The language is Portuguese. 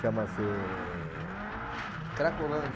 Chama-se... Cracolândia.